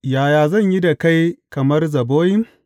Yaya zan yi da kai kamar Zeboyim?